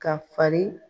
Ka fari